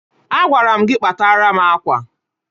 Agwara m gị kpatara m akwa!